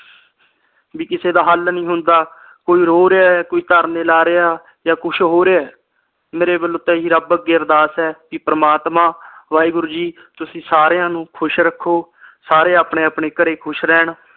ਵੀ ਕਿਸੇ ਦਾ ਹਲ ਨਹੀਂ ਹੁੰਦਾ ਕੋਈ ਰੋ ਰਹਿਆ ਏ ਕੋਈ ਧਰਨੇ ਲਾ ਰਹਿਆ ਜਾ ਕੁਛ ਹੋਰ ਏ ਮੇਰੇ ਵਲੋਂ ਤਾ ਇਹੀ ਰਬ ਅੱਗੇ ਅਰਦਾਸ ਏ ਕੇ ਪ੍ਰਮਾਤਮਾ ਵਾਹਿਗੁਰੂ ਜੀ ਤੁਸੀ ਸਾਰਿਆਂ ਨੂੰ ਖੁਸ਼ ਰੱਖੋ ਸਾਰੇ ਆਪਣੇ ਆਪਣੇ ਘਰ ਖੁਸ਼ ਰਹਿਣ